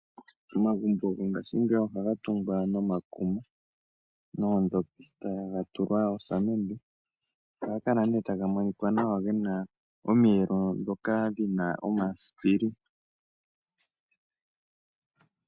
Omagumbo gongashingeyi ohaga tungwa no makuma ,noondhopi taga tulwa oosamende ohaga kala nee taga monika nawa gena omiyelo ndhoka dhomasipili